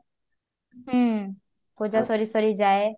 ହୁଁ ପୂଜା ସରି ସରି ଯାଏ